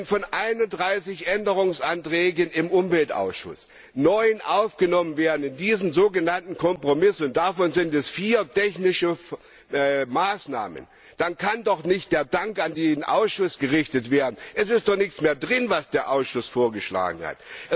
Wenn von 31 Änderungsanträgen im Umweltausschuss neun aufgenommen werden in diesen sogenannten Kompromiss und davon vier technische Maßnahmen sind, dann kann doch nicht der Dank an den Ausschuss gerichtet werden. Es ist doch nichts mehr drin, was der Ausschuss vorgeschlagen hat.